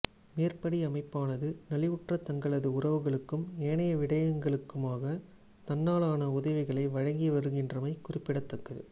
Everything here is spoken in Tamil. மேற்படி அமைப்பானது நலிவுற்ற தங்களது உறவுகளுக்கும் ஏனைய விடயங்களுக்குமாக தன்னாலான உதவிகளை வழங்கி வருகின்றமை குறிப்பிடத்தக்கது